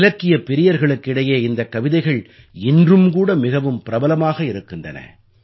இலக்கியப் பிரியர்களுக்கு இடையே இந்தக் கவிதைகள் இன்றும் கூட மிகவும் பிரபலமாக இருக்கின்றன